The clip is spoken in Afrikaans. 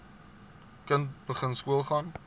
kind begin skoolgaan